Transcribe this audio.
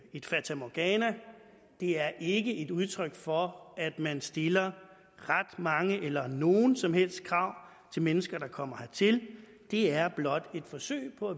et fatamorgana det er ikke et udtryk for at man stiller ret mange eller nogen som helst krav til mennesker som kommer hertil det er blot et forsøg på